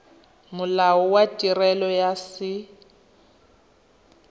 molao wa tirelo ya set